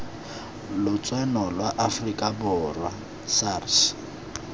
lotseno lwa aforika borwa sars